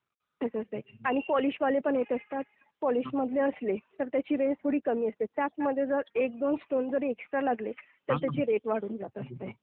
असं आहे ते आणि पॉलिशवाले पण येत असतात. पॉलिशमधले असले तर त्याची रेंज थोडी कमी असते. त्याचमध्ये जर एक दोन स्टोन जरी एक्स्ट्रा लागले तर त्याचे रेट वाढून जात असते.